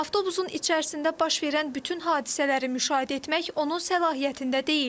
Avtobusun içərisində baş verən bütün hadisələri müşahidə etmək onun səlahiyyətində deyil.